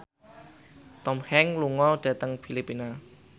Tom Hanks lunga dhateng Filipina